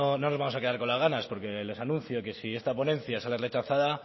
no nos vamos a quedar con las ganas porque les anuncio que si esta ponencia sale rechazada